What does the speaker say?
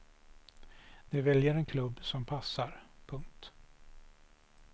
De väljer en klubb som passar. punkt